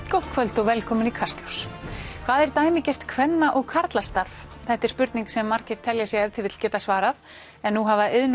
gott kvöld og velkomin í Kastljós hvað er dæmigert kvenna og karlastarf þetta er spurning sem margir telja sig ef til vill geta svarað en nú hafa iðn